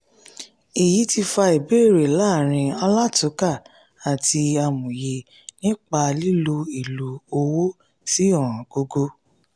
èyí ti fa ìbéèrè láàrin alátúnkà àti amòye nípa lílo èlò owó sí ọ̀ńgógó.